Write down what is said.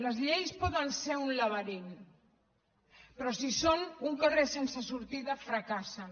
les lleis poden ser un laberint però si són un carrer sense sortida fracassen